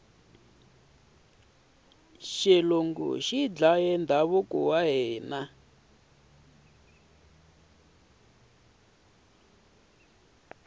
xilungu xi dlaye ndhavuko wa hina